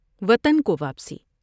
وطن کو واپسی